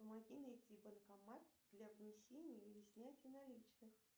помоги найти банкомат для внесения или снятия наличных